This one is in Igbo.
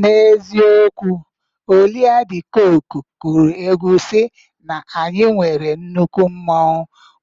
N'eziokwu, Olia Dị Kooku kụrụ egwu sị na anyị nwere nnukwu mmanwụ